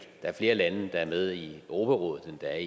er flere lande der er med i europarådet end der er